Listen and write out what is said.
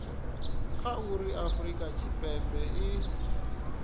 kha uri afurika tshipembe i